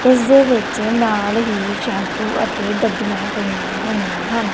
ਇੱਸ ਦੇ ਵਿੱਚ ਨਾਲ ਹੀ ਸ਼ੈਂਪੂ ਅਤੇ ਡੱਬੀਆਂ ਪਈਆਂ ਹੋਈਆਂ ਹਨ।